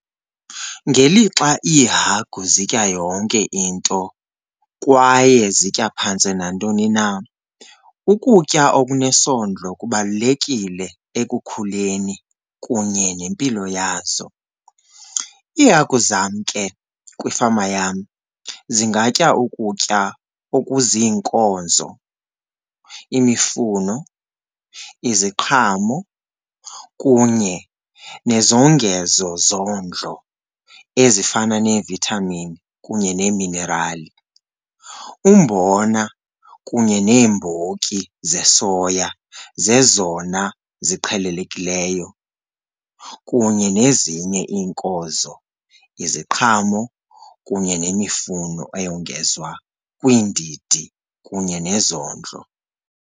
Ngelixa iihagu zitya yonke into kwaye zitya phantse nantoni na, ukutya okunesondlo kubalulekile ekukhuleni kunye nempilo yazo. Iihagu zam ke kwifama yam zingatya ukutya okuziinkozo, imifuno, iziqhamo kunye nezongezo zondlo ezifana neevithamini kunye neeminerali. Umbona kunye neembotyi zesoya zezona ziqhelelekileyo kunye nezinye iinkozo, iziqhamo kunye nemifuno eyongezwa kwiindidi kunye nezondlo.